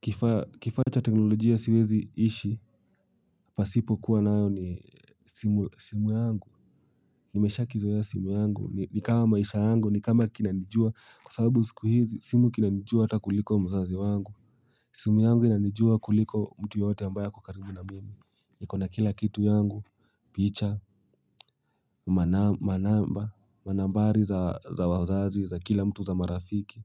Kifaa cha teknolojia siwezi ishi pasipo kuwa nayo ni simu yangu. Nimeshakizoea simu yangu, nikama maisha yangu, nikama kinanijua, kwa sababu siku hizi, simu kinanijua hata kuliko mzazi wangu. Simu yangu inanijua kuliko mtu yeyote ambaye ako karibu na mimi. Ikona kila kitu yangu, picha, manamba, manambari za wazazi, za kila mtu za marafiki,